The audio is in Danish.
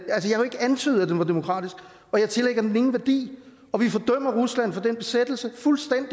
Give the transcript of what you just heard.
antydet at den var demokratisk og jeg tillægger den ingen værdi og vi fordømmer rusland for den besættelse fuldstændig